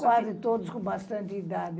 Quase todos com bastante idade.